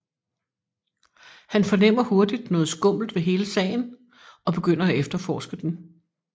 Han fornemmer hurtigt noget skummelt ved hele sagen og begynder at efterforske den